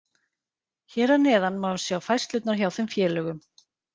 Hér að neðan má sjá færslurnar hjá þeim félögum.